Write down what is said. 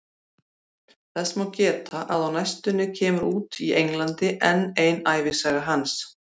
Þess má geta að á næstunni kemur út í Englandi enn ein ævisaga hans.